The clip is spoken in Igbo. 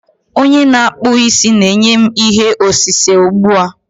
Onye na-akpụ isi na-enye m ihe osise ugbu a.